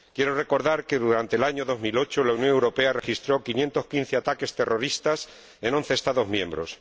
Quiero recordar que durante el año 2008 la Unión Europea registró 515 ataques terroristas en once Estados miembros.